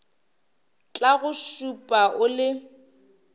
tla go šupa o le